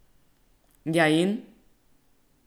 Ja, in?